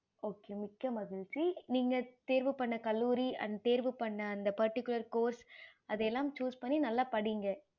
okay okay நீங்க தேர்வு பண்ண கல்லூரி and தேர்வு பண்ண அந்த particular course அது எல்லாம் choose பண்ணி நல்ல படிங்க